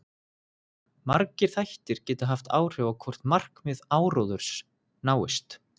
Margir þættir geta haft áhrif á hvort markmið áróðurs náist.